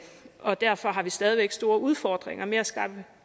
og derfor har vi stadig væk store udfordringer med at skaffe